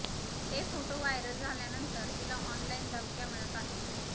हे photo viral झाल्यानंतर तिला ऑनलाइन धमक्या मिळत आहेत